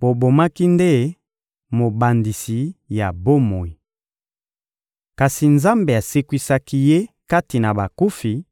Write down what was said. Bobomaki nde Mobandisi ya bomoi. Kasi Nzambe asekwisaki Ye kati na bakufi,